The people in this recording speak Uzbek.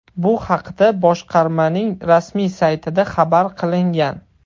Bu haqda boshqarmaning rasmiy saytida xabar qilingan .